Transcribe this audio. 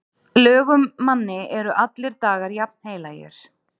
Lögum manni eru allir dagar jafnheilagir.